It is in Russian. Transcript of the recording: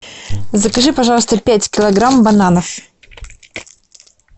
закажи пожалуйста пять килограмм бананов